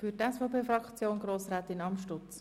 Für die SVP-Fraktion spricht Grossrätin Amstutz.